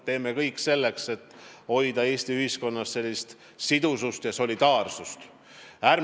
Teeme kõik selleks, et hoida Eesti ühiskonnas sidusust ja solidaarsust!